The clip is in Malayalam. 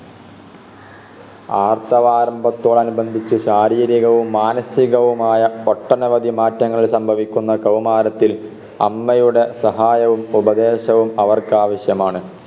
ആർത്തവാരംഭത്തോടനുബന്ധിച്ച് ശാരീരികവും മനസികവുമായ ഒട്ടനവധി മാറ്റങ്ങൾ സംഭവിക്കുന്ന കൗമാരത്തിൽ അമ്മയുടെ സഹായവും ഉപദേശവും അവർക്കാവശ്യമാണ്